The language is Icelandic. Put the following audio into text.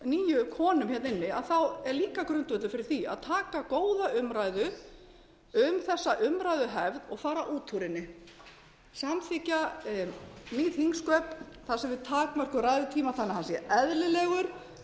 nýju konum inni er líka grundvöllur fyrir því að taka góða umræðu um þessa umræðuhefð og fara út úr henni samþykkja nýsköp þannig að við takmörkum ræðutíma þannig að hann sé eðlilegur